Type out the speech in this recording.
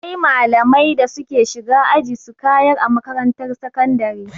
Akwai malamai da suke shiga aji su kayar a makarantar sakandare.